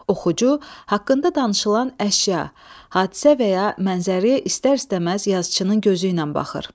Oxucu haqqında danışılan əşya, hadisə və ya mənzərəyə istər-istəməz yazıçının gözü ilə baxır.